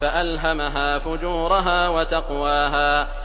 فَأَلْهَمَهَا فُجُورَهَا وَتَقْوَاهَا